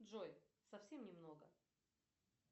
джой совсем немного